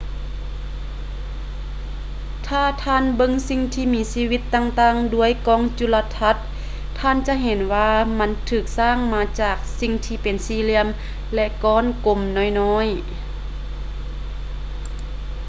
ຖ້າທ່ານເບິ່ງສິ່ງມີຊີວິດຕ່າງໆດ້ວຍກ້ອງຈຸລະທັດ ທ່ານຈະເຫັນວ່າມັນຖືກສ້າງມາຈາກສິ່ງທີ່ເປັນສີ່ຫລ່ຽມ ຫຼື ກ້ອນກົມໆນ້ອຍໆ